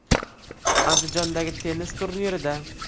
Andijondagi tennis turnirida.